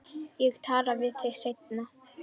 Ég tala við þig seinna.